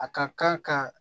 A ka kan ka